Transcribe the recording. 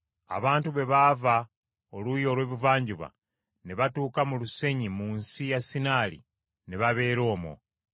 Abantu bwe baava oluuyi olw’ebuvanjuba ne batuuka mu lusenyi nsi ya Sinaali ne babeera omwo.